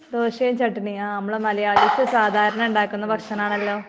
ദോശയും ചട്ടിനി .ആ നമ്മൾ മലയാളീസ് സാധാരണ ഉണ്ടാകുന്ന ഭക്ഷണം ആണല്ലോ .